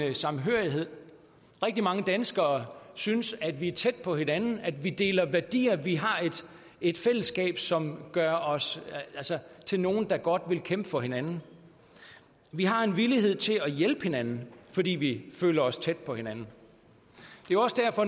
en samhørighed rigtig mange danskere synes at vi er tæt på hinanden at vi deler værdier og at vi har et fællesskab som gør os til nogen der godt vil kæmpe for hinanden vi har en villighed til at hjælpe hinanden fordi vi føler os tæt på hinanden